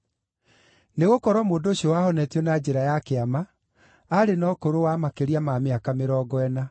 Nĩgũkorwo mũndũ ũcio wahonetio na njĩra ya kĩama aarĩ na ũkũrũ wa makĩria ma mĩaka mĩrongo ĩna.